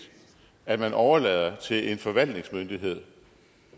at man overlader til en forvaltningsmyndighed